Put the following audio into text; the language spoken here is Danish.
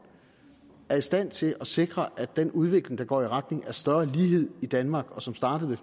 er i stand til at sikre at den udvikling der går i retning af større lighed i danmark og som startede